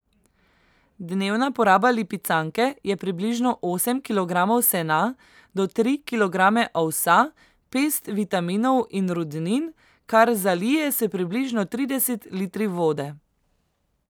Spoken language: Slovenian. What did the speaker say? Dnevna poraba lipicanke je približno osem kilogramov sena, do tri kilograme ovsa, pest vitaminov in rudnin, kar zalije s približno trideset litri vode.